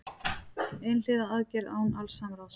Einhliða aðgerð án alls samráðs